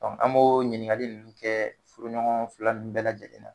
an b'o ɲininkali ninnu kɛ furu ɲɔgɔn fila nun bɛɛ lajɛlen na.